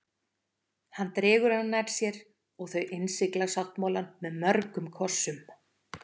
Hann dregur hana nær sér og þau innsigla sáttmálann með mörgum kossum.